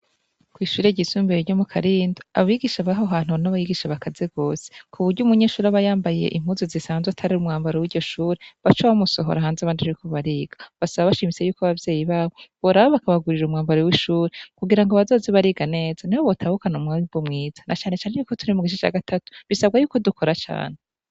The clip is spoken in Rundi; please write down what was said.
Kw'ishure ryisumbuye ryo mu Karindo abigisha b'aho hantu n'abigisha bakaze gose ku buryo umunyeshuri aba yambaye impuzu zisanzwe atari umwambro w'iryo shure baca bamusohora hanze abandi bariko bariga, basaba bashimitse yuko abavyeyi babo boraba bakabagurira umwambaro w'ishure kugira ngo bazoze bariga neza niho botahukana umwimbu mwiza na canecane yuko turi mu gice ca gatatu bisabwa yuko dukora cane.